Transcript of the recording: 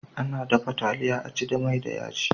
Ana dafa taliya a ci da mai da yaji.